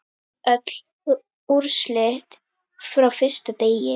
Öll úrslit frá fyrsta degi